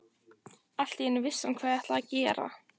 Allt í einu vissi hann hvað hann ætlaði að gera.